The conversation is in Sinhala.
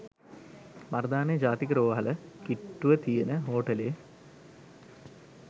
මරදානේ ජාතික රෝහල කිට්‌ටුව තියෙන හෝටලේ